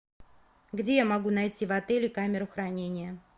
где я могу найти в отеле камеру хранения